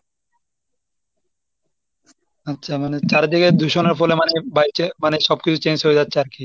আচ্ছা মানে চারিদিকে দূষণের ফলে বাড়ছে মানে সবকিছু change হয়ে যাচ্ছে আর কি।